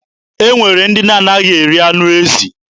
E nwere ndị na-anaghị eri anụ ezi.